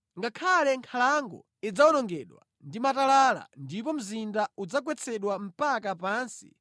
Ngakhale nkhalango idzawonongedwa ndi matalala ndipo mzinda udzagwetsedwa mpaka pansi,